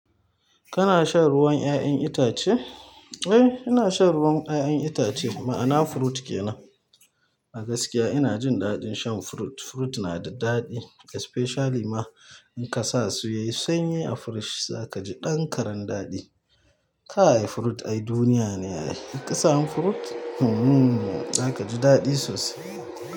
Kana shan ruwan 'ya'yan itace? Eh, ina shan ruwan 'ya'yan itace. Ma'ana fruit kenan. A gaskiya ina jin daɗin shan fruit. Fruit na da daɗi especially ma in ka sa su yayi sanyi a fridge za ka ji ɗan karan daɗi. Kai fruit ai duniya ne a yayi. Ka sa mun fruit? Hmmm! Za ka ji daɗi sosai.